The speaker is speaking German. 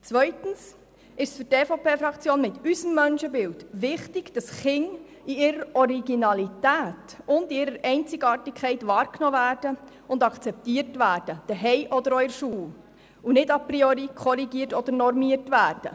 Zweitens ist es für die EVP-Fraktion mit ihrem Menschenbild wichtig, dass Kinder in ihrer Originalität und in ihrer Einzigartigkeit wahrgenommen und akzeptiert werden, sowohl zu Hause als auch in der Schule, und nicht a priori korrigiert oder normiert werden.